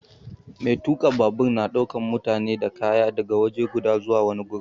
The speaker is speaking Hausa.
Mai tuka babur na daukan mutane da kaya daga waje guda zuwa wani gurin.